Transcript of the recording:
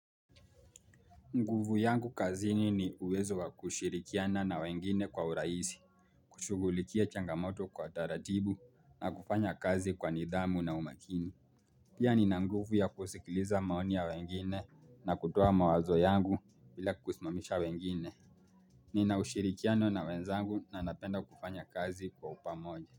Nguvu yangu kazini ni uwezo wa kushirikiana na wengine kwa uraisi, kushugulikia changamoto kwa taratibu na kufanya kazi kwa nidhamu na umakini. Pia ni na nguvu ya kusikiliza maoni ya wengine na kutoa mawazo yangu bila kusimamisha wengine. Nina ushirikiano na wenzangu na napenda kufanya kazi kwa upamoja.